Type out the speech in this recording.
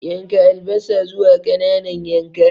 Yanka albasa zuwa ƙananan yanka.